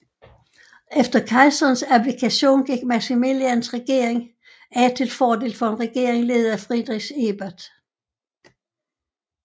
Efter kejserens abdikation gik Maximilians regering af til fordel for en regering ledet af Friedrich Ebert